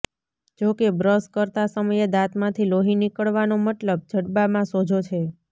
જોકે બ્રશ કરતા સમયે દાંતમાંથી લોહી નીકળવાનો મતલબ જડબામાં સોજો છે